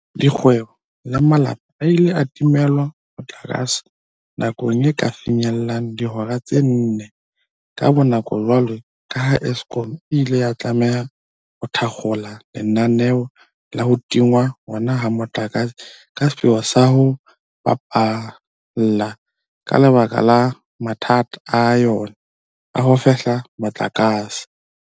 Dikgwebo le malapa a ile a timelwa motlakase nako e ka finyellang dihoreng tse nne ka bonako jwalo ka ha Eskom e ile ya tlameha ho thakgola lenaneo la ho tingwa hona ha motlakase ka sepheo sa o ho baballa ka lebaka la mathata a yona a ho fehla motlakase.